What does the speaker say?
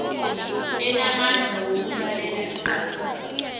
enamandla wokulalela icala